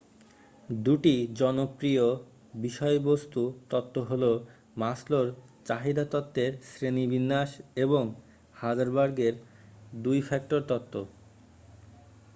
2 টি জনপ্রিয় বিষয়বস্তু তত্ত্ব হল মাসলোর চাহিদা তত্ত্বের শ্রেণীবিন্যাস এবং হার্জবার্গের 2 ফ্যাক্টর তত্ত্ব